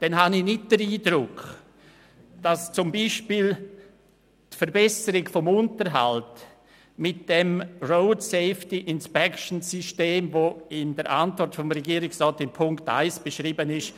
Dabei habe ich nicht den Eindruck, dass beispielsweise die Verbesserung des Unterhalts mit dem System der Road Safety Inspection (RSI) wirklich sichergestellt ist, wie die Regierungsantwort in Punkt 1 beschreibt.